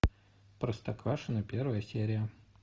простоквашино первая серия